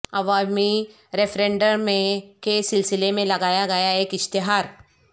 عوامی ریفرینڈم میں کے سلسلے میں لگایا گیا ایک اشتہار